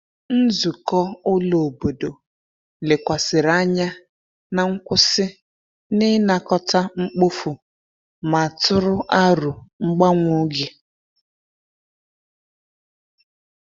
Nzukọ ụlọ obodo lekwasịrị anya na nkwụsị n’ịnakọta mkpofu ma tụrụ aro mgbanwe oge.